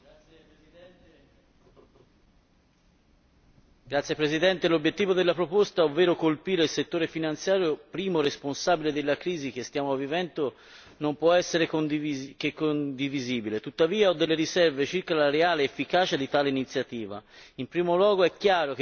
Signor Presidente, onorevoli colleghi, l'obiettivo della proposta, ovvero colpire il settore finanziario primo responsabile della crisi che stiamo vivendo non può essere che condivisibile. Tuttavia, ho delle riserve circa la reale efficacia di tale iniziativa. In primo luogo è chiaro che per funzionare essa dovrebbe essere applicata a livello globale,